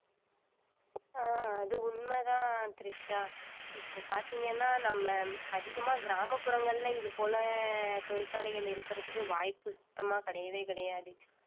ஆஹ் அது உண்மைதான் திரிஷா இப்போ பார்த்தீங்கன்னா நம்ம அதிகமா கிராமபுறங்களிலே இது போல தொழிற்சாலைகள் இருக்கிறதுக்கு வாய்ப்பு சுத்தமா கிடையவே கிடையாது